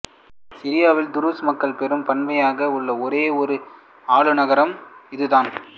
சிரியாவில் துருஸ் மக்கள் பெரும்பான்மையாக உள்ள ஒரே ஒரு ஆளுநரகம் இது தான்